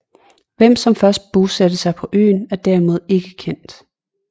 Hvem som først bosatte sig på øen er derimod ikke kendt